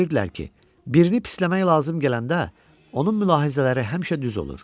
Bilirdilər ki, birini pisləmək lazım gələndə onun mülahizələri həmişə düz olur.